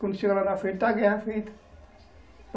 Quando chega lá na frente, está a guerra feita.